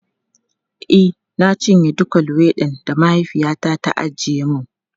E, na cinye dukan luwaiɗin da mahaifiyata ta ajiye mun.